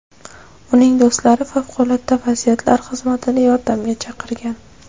Uning do‘stlari favqulodda vaziyatlar xizmatini yordamga chaqirgan.